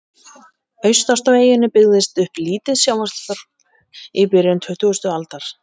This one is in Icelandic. Austast á eyjunni byggðist upp lítið sjávarþorp í byrjun tuttugustu aldar.